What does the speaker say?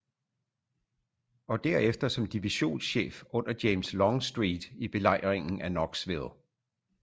Og derefter som divisionschef under james longstreet i belejringen af knoxville